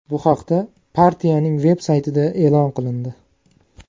Bu haqda partiyaning veb-saytida e’lon qilindi .